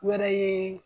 Wɛrɛ ye